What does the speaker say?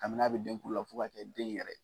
Kabini n'a bɛ den kulu la fo ka kɛ den yɛrɛ!